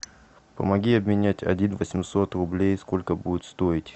помоги обменять один восемьсот рублей сколько будет стоить